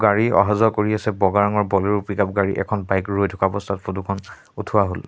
গাড়ী অহা যোৱা কৰি আছে বগা ৰঙৰ বলেৰো পিকআপ গাড়ী এখন বাইক ৰৈ থকা অৱস্থাত ফটো খন উঠোৱা হ'ল।